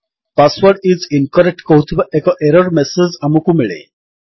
password is incorrect କହୁଥିବା ଏକ error message ଆମକୁ ମିଳେ